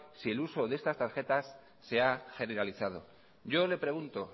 si el uso de estas tarjetas se ha generalizado yo le pregunto